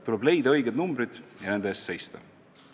Tuleb leida õiged numbrid ja nende eest seista.